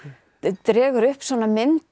dregur upp mynd